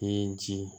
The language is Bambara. Ni ji